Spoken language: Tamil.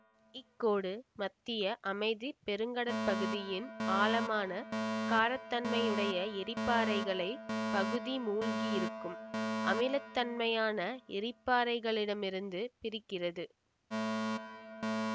இக்கோடு மத்திய அமைதி பெருங்கடற்படுக்கையின் ஆழமான காரத்தன்மையுடைய எரிப்பாறைகளை பகுதி மூழ்கி இருக்கும் அமிலத்தன்மையான எரிப்பாறைகளிடமிருந்து பிரிக்கிறது